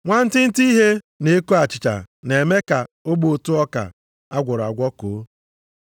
Nwantịntị ihe na-eko achịcha na-eme ka ogbe ụtụ ọka a gwọrọ agwọ koo.